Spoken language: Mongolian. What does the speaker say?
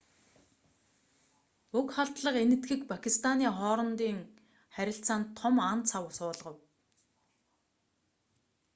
уг халдлага энэтхэг пакистаны хоорондын харилцаанд том ан цав суулгав